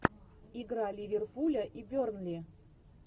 игра ливерпуля и бернли